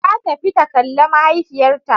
Ta tafi ta kalle mahaifiyarta.